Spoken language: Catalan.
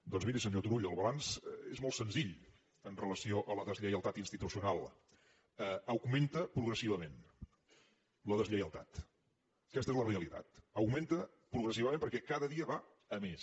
doncs miri senyor turull el balanç és molt senzill amb relació a la deslleialtat institucional augmenta progressivament la deslleialtat aquesta és la realitat augmenta progressivament perquè cada dia va a més